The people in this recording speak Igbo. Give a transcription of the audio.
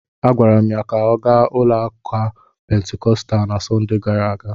Agwara m ya ka ọ gaa ụlọụka Pentikọstal na Sọnde gara aga!